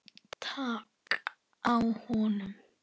Takið á honum!